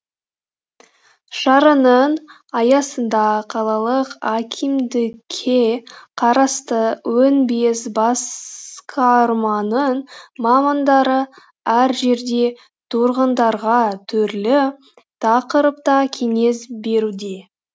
шараның аясында қалалық әкимдікке қарасты он бес басқарманың мамандары әр жерде тұрғындарға түрлі тақырыпта кеңес беруде